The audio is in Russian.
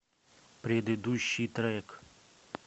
предыдущий трек